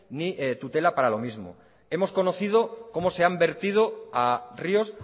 ni tutela para lo mismo hemos conocido cómo se han vertido a ríos